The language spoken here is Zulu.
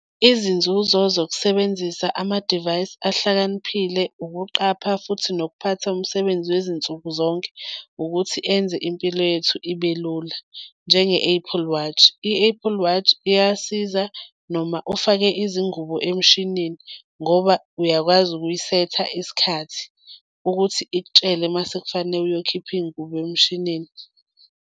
Izinzuzo zokusebenzisa ama-device ahlakaniphile ukuqapha futhi nokuphatha umsebenzi wezinsuku zonke ukuthi enze impilo yethu ibe lula, njenge-Apple Watch. I-Apple Watch iyasiza noma ufake izingubo emshinini ngoba uyakwazi ukuyisetha isikhathi ukuthi ikutshele mase kufanele uyokhipha iy'ngubo emshinini.